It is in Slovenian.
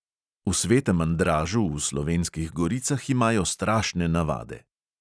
V svetem andražu v slovenskih goricah imajo strašne navade.